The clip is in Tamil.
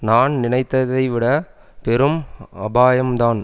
நான் நினைத்ததைவிட பெரும் அபாயம்தான்